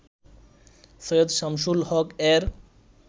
Syed Shamsul হক-এর